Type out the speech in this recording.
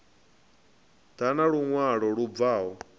ḓa na luṅwalo lu bvaho